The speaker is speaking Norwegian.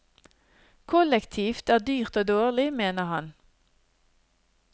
Kollektivt er dyrt og dårlig, mener han.